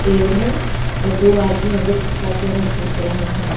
पेड़ है और दो आदमी अंदर गुफा के अंदर घुस रहे हैं।